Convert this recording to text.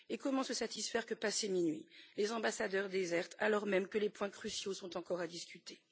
Et comment se satisfaire que, passé minuit, les ambassadeurs désertent alors même que les points cruciaux sont encore à discuter?